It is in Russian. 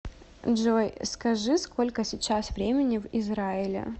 джой скажи сколько сейчас времени в израиле